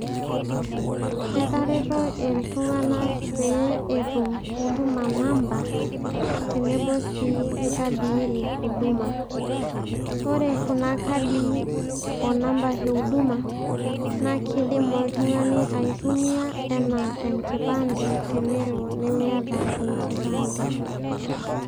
Etareto iltung'anak pee etum huduma number tenebo sii okadii e huduma, ore kuna kadii o namba e huduma naa kiidim oltung'ani aitumia enaa enkipande tenelo miata enkipande.